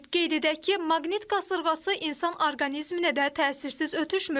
Qeyd edək ki, maqnit qasırğası insan orqanizminə də təsirsiz ötüşmür.